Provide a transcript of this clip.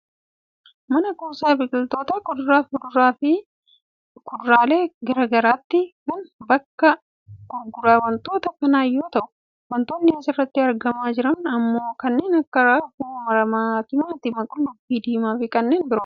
Mana kuusaa biqiltoota kuduraa, muduraa fi fuduraalee gara garaati. Kunis bakka gurgura wantoota kanaa yoo ta'u wantootni as irratti argamaa jiran ammoo kanneen akka; raafuu maramaa, timaatima, qullubbii diimaa fi kanneen biroodha.